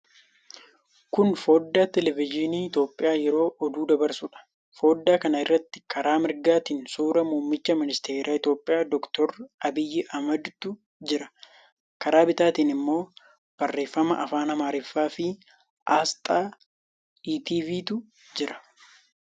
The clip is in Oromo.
Kun foddaa teelevizyiinii Itiyoophiyaa yeroo oduu dabarsuudha. Foddaa kana irratti karaa mirgaatiin suuraa muummicha ministeeraa Itiyoophiyaa Dr. Abiyy Ahmadiitu jira. Karaa bitaatiin immoo barreeffama afaan Amaaraa fi aasxaa ETV'tu jira.